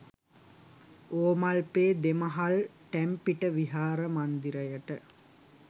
ඕමල්පේ දෙමහල් ටැම්පිට විහාර මන්දිරයට